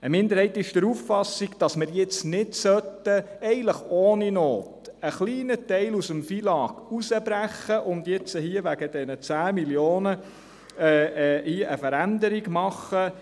Eine Minderheit ist der Auffassung, dass wir nicht ohne Not einen kleinen Teil aus dem FILAG herausbrechen und eine Veränderung wegen dieser 10 Mio. Franken vornehmen sollten.